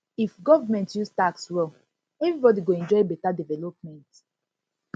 if government use tax well everybody go enjoy beta development